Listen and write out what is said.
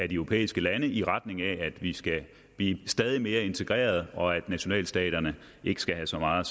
de europæiske lande i retning af at vi skal blive stadig mere integrerede og at nationalstaterne ikke skal have så meget